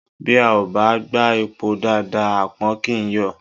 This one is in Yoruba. Bí a ò bá gbá epo dáadáa àpọ̀n kì í yọ̀